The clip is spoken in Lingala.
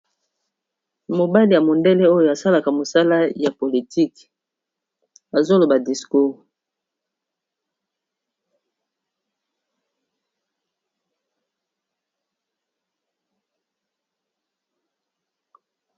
mobali ya mundele oyo asalaka mosala ya politiki azoloba discour